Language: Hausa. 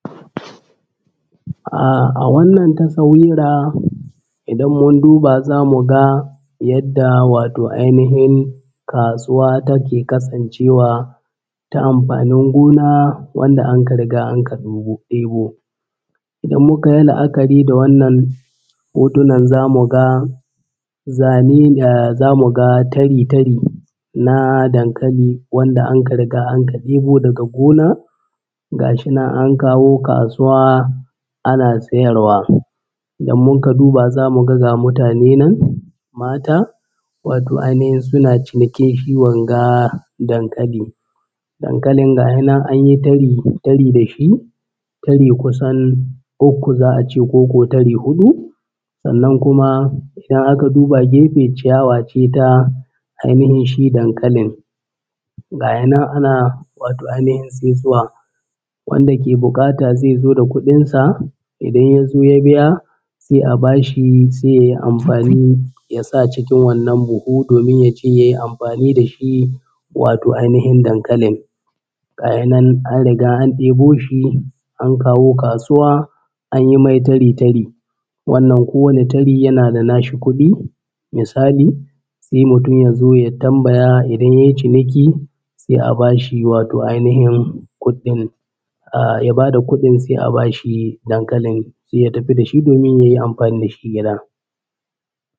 Ah a wannan tasawira idan mun duba za mu ga yadda wato ainihai kasuwa take kasancewa ta amfanin gona wanda anka riga anka ɗebo ɗibo. Idan muka yi la’akari da wannan hotunan za mu ga zane ne za mu ga tari-tari na dankali wanda anka riga anka ɗebo daga gona gashi nan an kawo kasuwa ana sayarwa. Idan mun ka duba za mu ga mutane nan mata watau ainihin suna cinikin wanga dankali. Dankalin ga he nan an yi tari-tari da shi tari kusan ukku za a ce ko huɗu sannan kuma in aka duba gefe ciyawa ce ta ainihin shi dankalin gaya nan ana wato ainihin tsintuwa, wanda ke buƙata zai zo da kuɗin sa idan ya zo ya biya sai a bashi sai ya yi amfani ya sa cikin wannan buhu domin ya je ya yi amfani da shi wato ainihin dankalin. Gaya nan an riga an ɗebo shi an kawo kasuwa an yi mai tari –tari wannan kowane tari yana da nashi kuɗi misali sai mutum ya zo ya tambaya idan ya yi ciniki sai a bashi wato ainihin kuɗɗin ahh ya bada kuɗin sai a bashi dankalin ya tafi da shi domin ya yi amfani da shi.